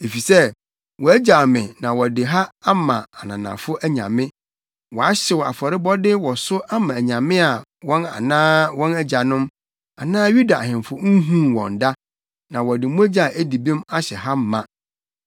Efisɛ wɔagyaw me na wɔde ha ama ananafo anyame; wɔahyew afɔrebɔde wɔ so ama anyame a wɔn anaa wɔn agyanom, anaa Yuda ahemfo nhuu wɔn da, na wɔde mogya a edi bem ahyɛ ha ma.